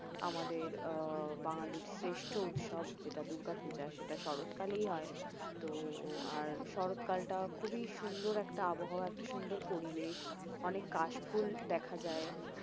আমাদের আহ বাঙ্গালির শ্রেষ্ঠ উৎসব যেটা দুর্গাপূজা সেটা শরৎকালেই হয় তো আর শরৎ কালটা খুবই সুন্দর একটা আবহাওয়া সুন্দর পরিবেশ অনেক কাশফুল দেখা যায়